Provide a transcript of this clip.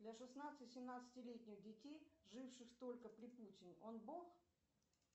для шестнадцати семнадцати летних детей живших только при путине он бог